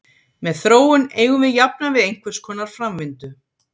Með þróun eigum við jafnan við einhverskonar framvindu.